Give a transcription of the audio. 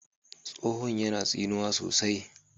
tsohon yana tsinuwa sosai